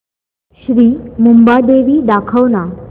श्री मुंबादेवी दाखव ना